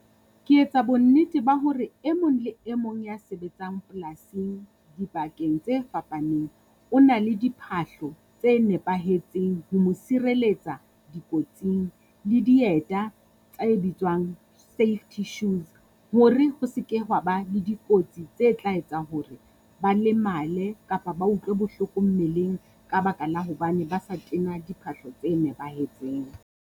Ke etsa bonnete ba hore e mong le e mong ya sebetsang polasing dibakeng tse fapaneng. O na le diphahlo tse nepahetseng ho mo sireletsa dikotsing, le dieta tse bitswang safety shoes hore ho se ke hwa ba le dikotsi tse tla etsa hore ba lemale, kapa ba utlwe bohloko mmeleng ka baka la hobane ba sa tena diphahlo tse nepahetseng.